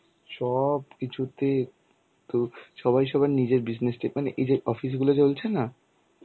সব কিছুতে তো সবাই সবার নিজের business টা~ মানে এই যে অফিসগুলো চলছে না,